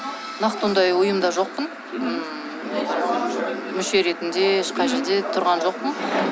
нақты ондай ұйымда жоқпын ммм мүше ретінде ешқай жерде тұрған жоқпын